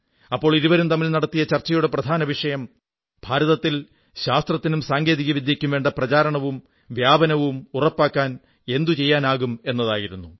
അപ്പോൾ ഇരുവരും തമ്മിൽ നടത്തിയ ചർച്ചയുടെ പ്രധാന വിഷയം ഭാരതത്തിൽ ശാസ്ത്രത്തിനും സാങ്കേതിക വിദ്യയ്ക്കും വേണ്ട പ്രചാരണവും വ്യാപനവും ഉറപ്പാക്കാൻ എന്തു ചെയ്യാനാകും എന്നതായിരുന്നു